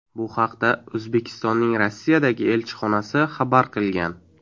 Bu haqda O‘zbekistonning Rossiyadagi elchixonasi xabar qilgan .